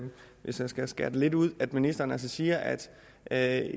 hvis jeg skal skære det lidt ud at ministeren altså siger at at